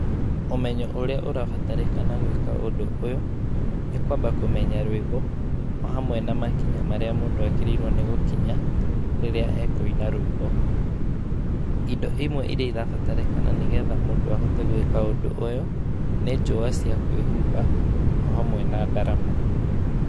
Ũmenyo ũrĩa ũrabatarĩkana gwĩka ũndũ ũyũ, nĩ kwamba kũmenya rwĩmbo, o hamwe na makinya marĩa mũndũ agĩrĩirwo nĩ gũkinya, rĩrĩa ekũina rwĩmbo. Indo imwe iria irabatarĩkana nĩguo mũndũ ahote gwĩka ũndũ ũyũ, nĩ njũwa cia kwĩhumba, o hamwe na ndarama.